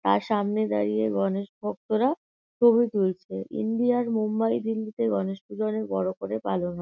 তাঁর সামনে দাড়িয়ে গনেশ ভক্তরা ছবি তুলছে। ইন্ডিয়ার মুম্বাই দিল্লিতে গনেশপূজো অনেক বড় করে পালন হয়।